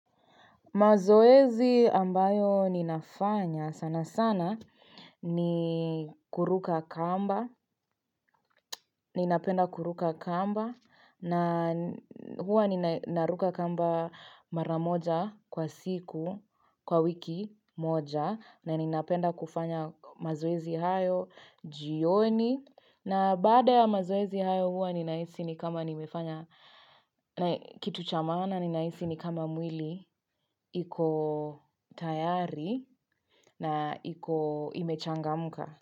Mazoezi ambayo ninafanya sana sana ni kuruka kamba, ninapenda kuruka kamba na huwa ninaruka kamba mara moja kwa siku, kwa wiki moja na ninapenda kufanya mazoezi hayo, jioni. Na baada ya mazoezi hayo huwa ninahisi ni kama nimefanya kitu cha maana ninahisi ni kama mwili iko tayari na imechangamuka.